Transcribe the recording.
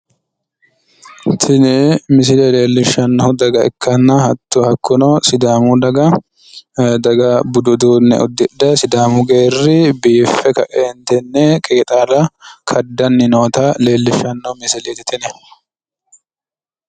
Tini misile leellishshannohu daga ikkanna hakkuno sidaamu daga budu uduunne uddidhe sidaamu geerri biiffe ka'eentinni qeexaala kaddanni noota leellishshanno misileeti tini.